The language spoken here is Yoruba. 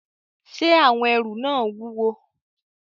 Ṣé àwọn ẹrù náà wúwo?